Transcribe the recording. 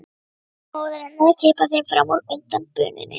Svo móðir hennar að kippa þeim fram úr undan bununni.